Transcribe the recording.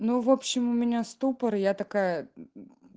ну в общем у меня ступор я такая мм